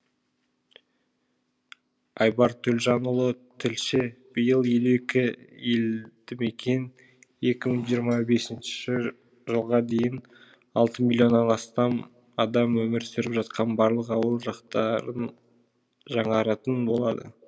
айбар төлжанұлы тілші биыл елу екі елдімекен екі мың жиырма бесінші жылға дейін алты миллионнан астам адам өмір сүріп жатқан барлық ауыл жақтарын жаңаратын болады